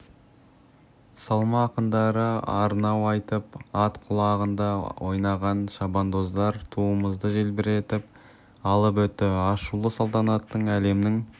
салма ақындары арнау айтып ат құлағында ойнаған шабандоздар туымызды желбіретіп алып өтті ашылу салтанаты әлемнің